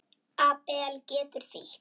Abel getur þýtt